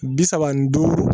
Bi saba ni duuru